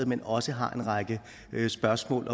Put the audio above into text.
men også har en række spørgsmål